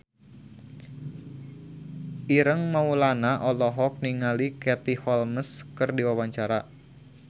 Ireng Maulana olohok ningali Katie Holmes keur diwawancara